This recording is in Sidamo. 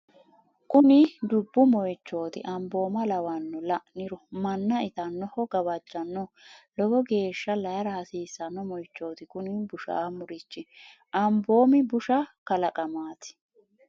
kuni dubbu moyichooti amboomma lawanno la'niro manna itannoho gawajjannoho lowo geeshsha layra hasiissanno moychooti kuni bushaamurichi . ambomi busaha kalaqamaati